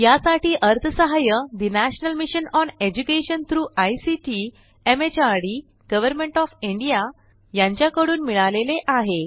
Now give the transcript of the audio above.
यासाठी अर्थसहाय्य national mission on education through ICT MHRD government of India यांच्याकडून मिळालेले आहे